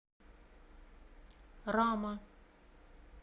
рама